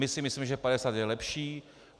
My si myslíme, že 50 je lepší.